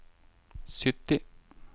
sytti